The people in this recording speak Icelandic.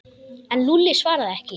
En Lúlli svaraði ekki.